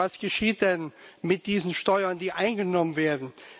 Und was geschieht denn mit diesen Steuern, die eingenommen werden?